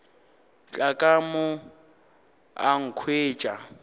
tla ka mo a nkhwetša